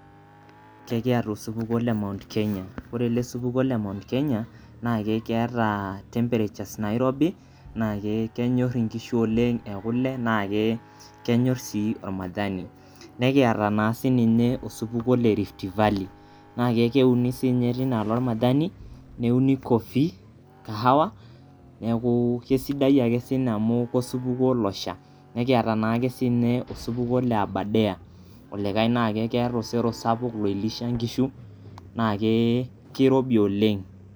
Kekiyata osupuko le Mount Kenya, ore ele supuko le Mount Kenya naa keeta temperatures nairobi naa kenyorr inkishu oleng' ekule naa ke kenyorr sii olmajani. Nekiyata naa sii ninye osupuko le Rift Valley naa keuni sii ninye teinaalo olmajani, neuni coffee, kahawa neeku kesidai ake sii ninye amu kosupuko losha. Nikiyata naake sii ninye osupuko le Aberdare olikae naa keeta osero sapuk loilisha nkishu naa ke keirobi oleng'.